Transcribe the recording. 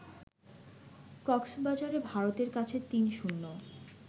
কক্সবাজারে ভারতের কাছে ৩-০